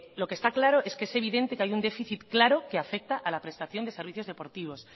lo que está claro es que es evidente que hay un déficit claro que afecta a la prestación de servicios deportivos